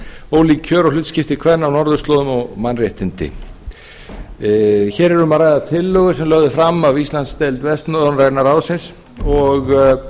ólík kjör og hlutskipti kvenna á norðurslóðum og mannréttindi hér er um að ræða tillögu sem lögð er fram af íslandsdeild vestnorræna ráðsins og